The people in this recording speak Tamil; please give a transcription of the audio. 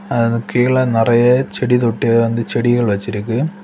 அதுக்கு கீழ நெறைய செடி தொட்டியில வந்து செடிகள் வச்சிருக்கு.